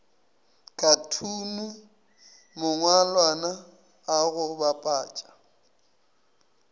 khathune mangwalwana a go bapatša